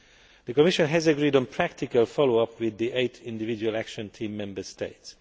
The Commission has agreed on practical follow up with the eight individual Action Team Member States.